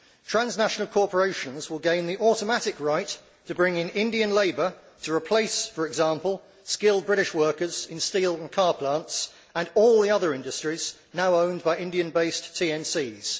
Transnational corporations will gain the automatic right to bring in Indian labour to replace, for example, skilled British workers in steel and car plants and all the other industries now owned by Indian based TNCs.